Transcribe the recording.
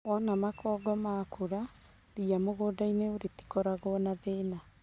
Wona makongo makũra , ria mũgũndaini rĩtĩkoragwo na thĩna.